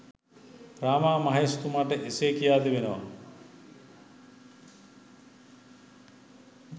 රාමා මහේෂ් තුමාට එසේ කියා තිබෙනවා